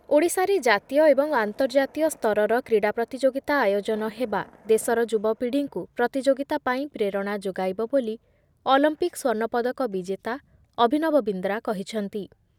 ଓଡ଼ିଶାରେ ଜାତୀୟ ଏବଂ ଆନ୍ତର୍ଜାତୀୟ ସ୍ତରର କ୍ରୀଡ଼ା ପ୍ରତିଯୋଗିତା ଆୟୋଜନ ହେବା ଦେଶର ଯୁବପିଢ଼ୀଙ୍କୁ ପ୍ରତିଯୋଗିତା ପାଇଁ ପ୍ରେରଣା ଯୋଗାଇବ ବୋଲି ଅଲମ୍ପିକ ସ୍ୱର୍ଣ୍ଣପଦକ ବିଜେତା ଅଭିନବ ବିନ୍ଦ୍ରା କହିଛନ୍ତି ।